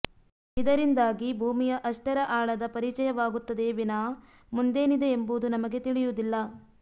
ಇದರಿಂದಾಗಿ ಭೂಮಿಯ ಅಷ್ಟರ ಆಳದ ಪರಿಚಯವಾಗುತ್ತದೆಯೇ ವಿನಾ ಮುಂದೇನಿದೆ ಎಂಬುದು ನಮಗೆ ತಿಳಿಯುವುದಿಲ್ಲ